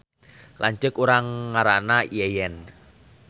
Lanceuk urang ngaranna Yeyen